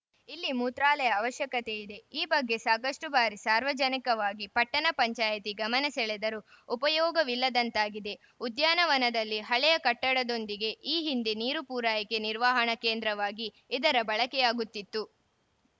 ಇಲ್ಲಿ ಮೂತ್ರಾಲಯ ಅವಶ್ಯಕತೆಯಿದೆ ಈ ಬಗ್ಗೆ ಸಾಕಷ್ಟುಬಾರಿ ಸಾರ್ವಜನಿಕವಾಗಿ ಪಟ್ಟಣ ಪಂಚಾಯತಿ ಗಮನ ಸೆಳೆದರೂ ಉಪಯೋಗವಿಲ್ಲದಂತಾಗಿದೆ ಉದ್ಯಾನವನದಲ್ಲಿ ಹಳೆಯ ಕಟ್ಟಡದೊಂದಿಗೆ ಈ ಹಿಂದೆ ನೀರು ಪೂರೈಕೆ ನಿರ್ವಹಣಾ ಕೇಂದ್ರವಾಗಿ ಇದರ ಬಳಕೆಯಾಗುತ್ತಿತ್ತು